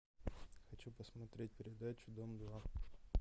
хочу посмотреть передачу дом два